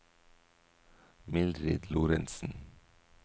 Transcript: Mildrid Lorentsen